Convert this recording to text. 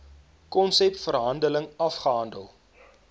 konsep verhandeling afgehandel